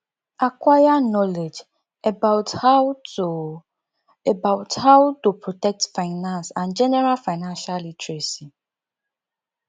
acquire knowledge about how to about how to protect finance and general financial literacy